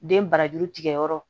Den barajuru tigɛ yɔrɔ